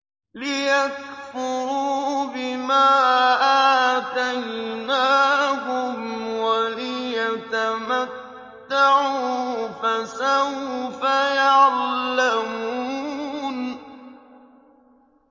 لِيَكْفُرُوا بِمَا آتَيْنَاهُمْ وَلِيَتَمَتَّعُوا ۖ فَسَوْفَ يَعْلَمُونَ